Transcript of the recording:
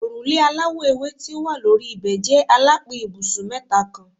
Orule alawọ ewe ti o wa lori ibẹ jẹ alapin ibusun mẹta kan